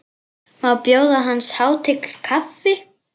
Má bjóða hans hátign kaffi?